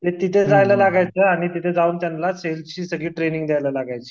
ते तिथे जायला लागायचं तिथे जाऊन त्यांला सेल्सची सगळी ट्रेनींग द्यावी लागायची